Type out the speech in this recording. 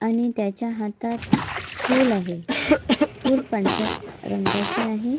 आणि त्याच्या हातात फूल आहे फूल पांढऱ्या रंगाचे आहे.